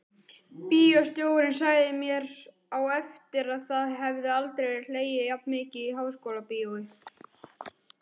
Bíóstjórinn sagði mér á eftir að það hefði aldrei verið hlegið jafn mikið í Háskólabíói.